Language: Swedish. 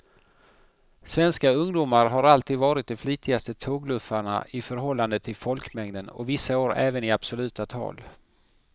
Svenska ungdomar har alltid varit de flitigaste tågluffarna i förhållande till folkmängden och vissa år även i absoluta tal.